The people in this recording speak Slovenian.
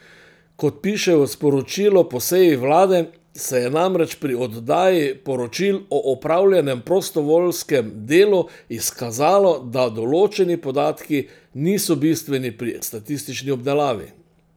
Kot piše v sporočilu po seji vlade, se je namreč pri oddaji poročil o opravljenem prostovoljskem delu izkazalo, da določeni podatki niso bistveni pri statistični obdelavi.